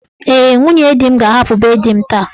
Ee, nwunye di m ga-ahapụ be di m taa.